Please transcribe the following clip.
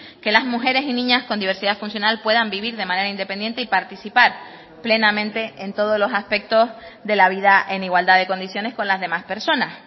que las mujeres y niñas con diversidad funcional puedan vivir de manera independiente y participar plenamente en todos los aspectos de la vida en igualdad de condiciones con las demás personas